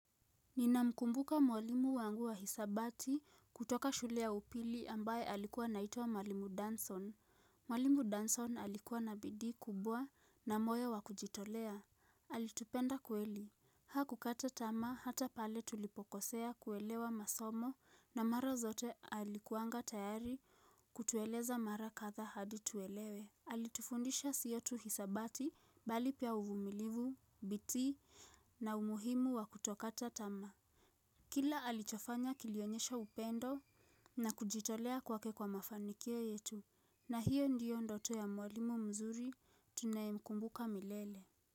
Ninamkumbuka mwalimu wangu wa hisabati kutoka shule ya upili ambaye alikuwa anaitwa mwalimu Danson. Mwalimu Danson alikuwa na bidii kubwa na moyo wa kujitolea. Alitupenda kweli. Hakukata tamaa hata pale tulipokosea kuelewa masomo na mara zote alikuanga tayari kutueleza mara kadhaa hadi tuelewe. Alitufundisha siyo tu hisabati bali pia uvumilivu, bidii na umuhimu wa kutokata tamaa. Kila alichofanya kilionyesha upendo na kujitolea kwake kwa mafanikio yetu na hiyo ndiyo ndoto ya mwalimu mzuri tunayemkumbuka milele.